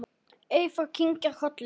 Eyþór kinkar kolli.